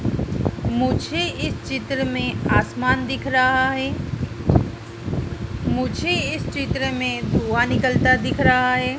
मुझे इस चित्र में आसमान दिख रहा है मुझे इस चित्र में धुआं निकलता दिख रहा है।